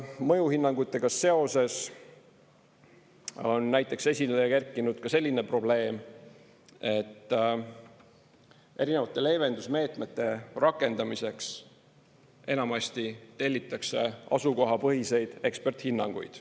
Mõjuhinnangutega seoses on näiteks esile kerkinud ka selline probleem, et erinevate leevendusmeetmete rakendamiseks enamasti tellitakse asukohapõhiseid eksperthinnanguid.